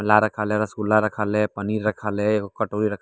उल्ला रखल हाय रस्गुल्ला रखल हय पनीर रखल हय एगो कटोरी रखल हय।